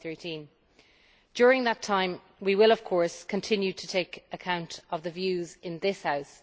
2013. During that time, we will, of course, continue to take account of the views in this House.